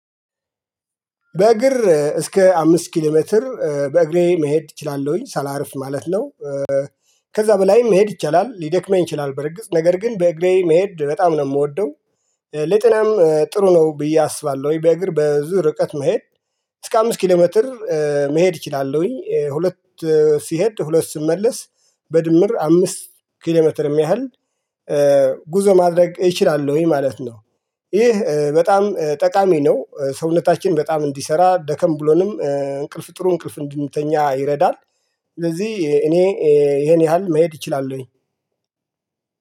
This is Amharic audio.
በእግር እስከ አምስት ኪሎሜትር በእግሬ መሄድ እችላለሁኝ ሳላርፍ ማለት ነው። ከዛ በላይ መሄድ ይቻላል። ልደክመኝ ይችላል በርግጥ ነገር ግን በእግሬ መሄድ በጣም ነው የምወደው ለጤናም ጥሩ ነው ብዬ አስባለሁ። ወይ በእግር በዙ ርቀት መሄድ እስከ አምስት ኪሎ ሜትር መሄድ እችላለሁኝ ሁለት ስሄድ ሁለት ስመለስ በድምር አምስት ኪሎ ሜትር ያህል ጉዞ ማድረግ እችላለሁኝ ማለት ነው ይህ በጣም ጠቃሚ ነው ሰውነታችን በጣም እንሠሰራ ደከም ብሎንም እንቅልፍ ጥሩ እንቅልፍ እንድንተኛ ይረዳል ስለዚህ እኔ ይሄን ያህል መሄድ እችላለሁኝ።